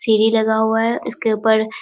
सीढ़ी लगा हुआ है इस के उपर --